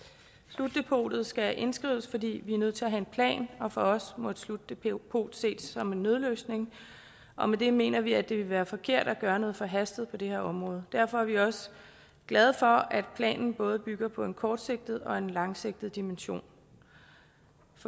slutdepotet skal indskrives fordi vi er nødt til at have en plan og for os må et slutdepot ses som en nødløsning og med det mener vi at det vil være forkert at gøre noget forhastet på det her område derfor er vi også glade for at planen både bygger på en kortsigtet og en langsigtet dimension